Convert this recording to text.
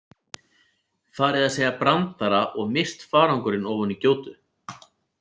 Farið að segja brandara og misst farangurinn ofan í gjótu.